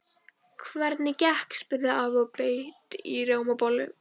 Hvernig gekk? spurði afi og beit í rjómabollu.